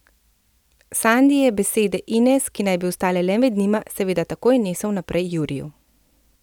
Sandi je besede Ines, ki naj bi ostale le med njima, seveda takoj nesel naprej Juriju ...